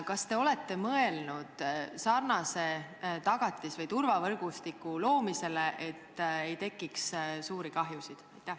Kas te olete mõelnud sarnase tagatis- või turvavõrgustiku loomisele, et ei tekiks suuri kahjusid?